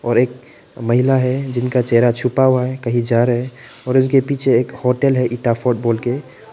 और एक महिला है जिनका चेहरा छुपा हुआ है कहीं जा रहे हैं और उनके पीछे एक होटल है इटाफर्ट बोलके।